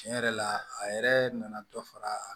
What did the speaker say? Tiɲɛ yɛrɛ la a yɛrɛ nana dɔ fara